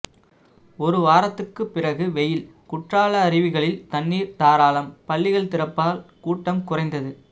ஒரு வாரத்துக்கு பிறகு வெயில் குற்றால அருவிகளில் தண்ணீர் தாராளம் பள்ளிகள் திறப்பால் கூட்டம் குறைந்தது